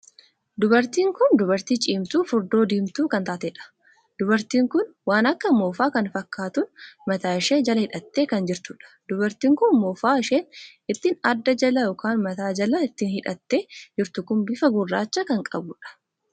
Dubartiin kun dubartii cimtuu furdoo diimtuu kan taateedha. dubartiin kun waan akka moofaa kan fakkaatuun mataa ishee jala hidhattee kan jirtuudha. dubartiin kun moofaa isheen ittiin adda jala ykn mataa jala ittiin hidhattee jirtu kun bifa gurraacha kan qabuudha.